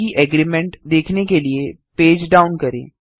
बाकी एग्रीमेंट देखने के लिए पेज डाउन करें